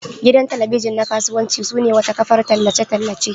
Gidan talabijin na kasuwanci sune wata kafar tallace tallace.